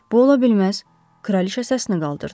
Bu ola bilməz, kraliçə səsini qaldırdı.